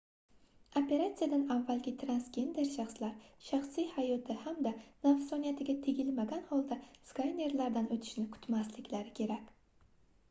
operatsiyadan avvalgi transgender shaxslar shaxsiy hayoti hamda nafsoniyatiga tegilmagan holda skanerlardan oʻtishni kutmasliklari kerak